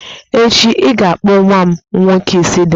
Echi, I ga-akpụ nwa m nwoke isi dị mma